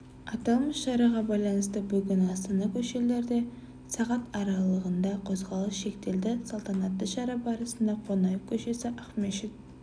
аталмыш шараға байланысты бүгін астана көшелерде сағат аралығында қозғалыс шектеледі салтанатты шара барысында қонаев к-сі ақмешіт